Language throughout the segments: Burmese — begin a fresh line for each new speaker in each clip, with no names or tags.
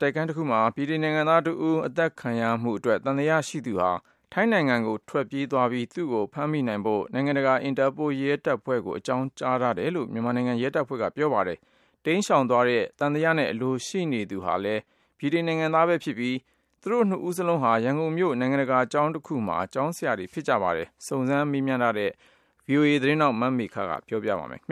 တိုက်ခန်းတခုအတွင်း ဗြိတိန်နိုင်ငံသားတဦး အသတ်ခံရမှုအတွက် သံသယရှိသူဟာ ထိုင်းနိုင်ငံကို ထွက်ခွာသွားပြီး၊ သူ့ကို ဖမ်းမိဖို့ နိုင်ငံတကာရဲတပ်ဖွဲ့ကို အကြောင်းကြားထားတယ်လို့ မြန်မာနိုင်ငံရဲတပ်ဖွဲ့က ပြောပါတယ်။ သံသယနဲ့ အလိုရှိနေသူဟာလည်း ဗြိတိန်နိုင်ငံသားဖြစ်ပြီး၊ သူတို့နှစ်ဦးစလုံးဟာ ရန်ကုန်မြို့ နိုင်ငံတကာကျောင်းတကျောင်းက ကျောင်းဆရာတွေဖြစ်ကြပါတယ်။ စုံစမ်းမေးမြန်းထားတဲ့ မမေခက သတင်းပေးပို့ထားတာပါ။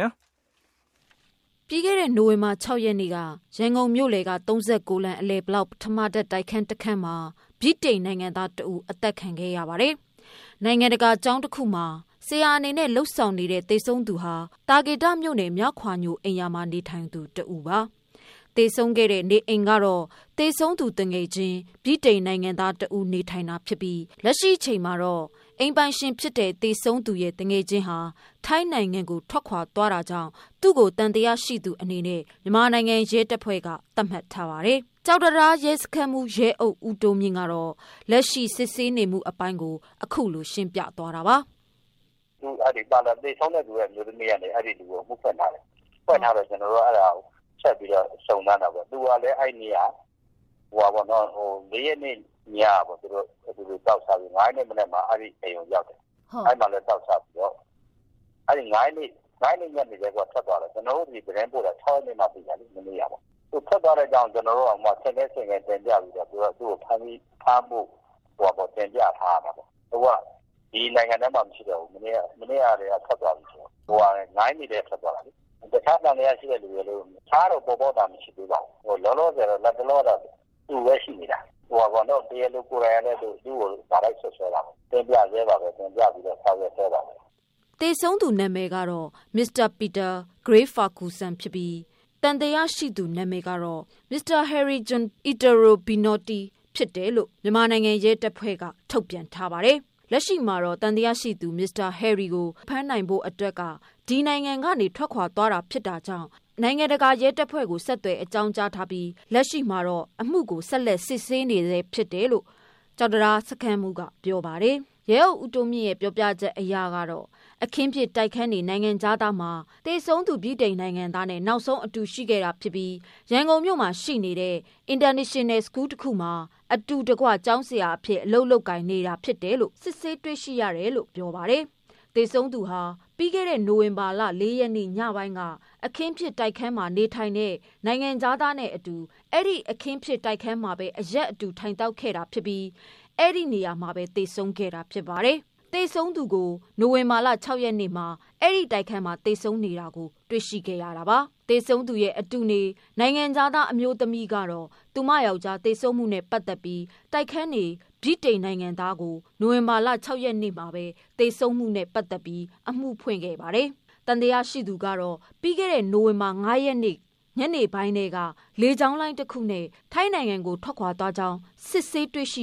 ပြီးခဲ့တဲ့ နိုဝင်ဘာ ၆ ရက်နေ့က ရန်ကုန်မြို့လယ်က ၃၉ လမ်း အလယ်ဘလောက် ပထမထပ် တိုက် ခန်းတစ်ခန်းမှာ ဗြိတိန် နိုင်ငံသားတစ်ဦးသတ်ခံခဲ့ရပါတယ်။ နိုင်ငံတကာကျောင်းတခုမှာ ဆရာအနေ နဲ့လုပ်ဆောင်နေတဲ့ သေဆုံးသူဟာ သာကေတမြို့နယ်၊ မြခွာညိုအိမ်ရာမှာ နေထိုင်သူတဦးပါ။ သေ ဆုံးခဲ့တဲ့ နေအိမ်ကတော့ သေဆုံးသူသူငယ်ချင်း ဗြိတိန်နိုင်ငံသားတဦး နေထိုင်တာ ဖြစ်ပြီး လက်ရှိ ချိန်မှာတော့ အိမ်ပိုင်ရှင် ဖြစ်တဲ့ သေဆုံးသူရဲ့ သူငယ်ချင်းဟာ ထိုင်းနိုင်ငံကိုထွက်ခွာသွားတာကြောင့် သူ့ကို သံသယ ရှိဆုံးသူအနေနဲ့ ရဲတပ်ဖွဲ့က သတ်မှတ်ထားပါတယ်။ ကျောက်တံတား စခန်းမှုး ဦးတိုးမြို့က လက်ရှိစစ်ဆေးနေမှုကိုပြောပြတာပါ။
“သေဆုံးတဲ့ သူရဲ့အမျိုးသမီးကလည်း အဲဒီလူကို အမှုဖွင့်ထားတယ်။ ဖွင့်ထားတော့ကျနော်တို့က ဆက်ပြီးတော့ စုံစမ်းတာပေါ့။ သူကလည်း အဲဒီနေ့က ၄ ရက်နေ့ညက အတူတူသောက်စားပြီး ၊ ၅ ရက်နေ့မနက်မှာ အိမ်ကိုရောက်တယ် အဲဒီမှာလည်း သောက်စားပြီးတော့ ၅ ရက်နေ့ညနေကပဲ ထွက်သွားတာ။ ကျနော်တို့ ဆီသတင်းပို့တာ ၆ ရက်နေ့မှ သိတာလေ မနေ့က မှသိတာပါ။ သူထွက်သွားတဲ့အကြောင်းကို ကျနော်တို့တောင်မှ ဆင့်ကဲဆင့်ကဲတင်ပြပြီးတော့ သူ့ကို ဖမ်းဖို့ တင်ပြထားရတာပေါ့။ အခုက ဒီနိုင်ငံထဲမှာ မရှိတော့ဘူး မနေ့က ထွက်သွားပြီဆိုတော့ ၅ ရက်နေ့ကတည်းက ထွက်သွားတာလေ။ တခြားသံသယရှိတဲ့လူတွေ တခြားတော့ ပေါ်တာမရှိသေးပါဘူး။ လောလောဆယ် လက်တလောကတော့ သူပဲရှိနေတာ။ တရားလိုကိုယ်တိုင်ကလည်း သူ့ကို direct စွပ်စွဲတာပေါ့ ကျနော်တို့လည်း တင်ပြပြီးတော့ ဆောင်ရွက်စဲပါပဲ
။” သေဆုံးသူနာမည်ကတော့Mr. Peter Gary Ferguson ဖြစ်ပြီး သံသယရှိသူ နာမည်ကတော့ Mr. Harris John Italo Binotti ဖြစ်တယ်လို့ ပြောပါတယ်။ လက်ရှိမှာ သံသယရှိတဲ့ မစ္စတာ ဟယ်ရီကို ဖမ်းနိုင်ဖို့ ကဒီနိုင်ငံထဲက ထွက်ခွာ သွား တာကြောင့် နိုင်ငံတကာရဲတပ်ဖွဲ့ကို အကြောင်းကြားထားပြီး ဆက်လက်အမှုကို စိစစ်နေဆဲဖြစ်ပါတယ်။ ကျောက်တံတား စခန်းမှုး ဦးတိုးမြို့က ပြောပြချက်အရကတော့ အခင်းဖြစ် တိုက်ခန်းနေ နိုင်ငံခြားသားမှာ သေဆုံးသူ ဗြိတိန်နိုင်ငံသားနဲ့နောက်ဆုံးအတူရှိခဲ့တာဖြစ်ပြီး ရန်ကုန်မြို့ ရှိ International School တစ်ခုမှာ အတူတကွ ကျောင်းဆရာအဖြစ် အလုပ်လုပ်ကိုင် နေသူဖြစ်တယ်လို့ စစ်ဆေးတွေ့ရ တယ်လို့ပြောပါတယ်။ သေဆုံးသူဟာ ပြီးခဲ့တဲ့ နိုဝင်ဘာ ၄ရက်နေ့ညပိုင်းက အခင်းဖြစ် တိုက်ခန်းနေ နိုင်ငံခြားသားနဲ့အတူ အဲဒီအခင်းဖြစ်တိုက်ခန်းမှာ အရက်အတူ သောက်ခဲ့ကြကာ အဲဒီနေရာမှာ သေဆုံးခဲ့တာဖြစ်ပါတယ်။ သေဆုံးသူကို နိုဝင်ဘာ ၆ရက်နေ့မှ အဲဒီတိုက် ခန်းမှာ သေဆုံးနေတာတွေ့ရတာပါ။ သေဆုံးသူရဲ့ အတူနေ နိုင်ငံခြားသားအမျိုးသမီးကတော့ သူမယောက်ကျား သေဆုံးမှု နဲ့ပတ်သတ်ပြီး တိုက်ခန်းနေဗြိတိန်နိုင်ငံခြား သား ကို နိုဝင်ဘာ ၆ရက်နေ့ မှာဘဲ သေဆုံးမှုနဲ့အမှုဖွင့်ခဲ့တာဖြစ်ပါတယ်။ သံသယရှိသူမှာ ပြီးခဲ့တဲ့ နိုဝင်ဘာ ၅ ရက်နေ့ ညနေပိုင်းက လေကြောင်းလိုင်း တစ်ခုနဲ့ ထိုင်းနိုင်ငံကို ထွက်ခွာသွား တယ်လို့ စစ်ဆေးတွေ့ရှိ